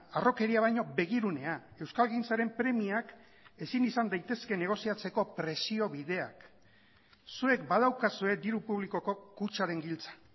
harrokeria baino begirunea euskalgintzaren premiak ezin izan daitezke negoziatzeko presio bideak zuek badaukazue diru publikoko kutxaren giltza